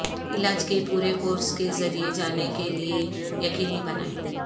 علاج کے پورے کورس کے ذریعے جانے کے لئے یقینی بنائیں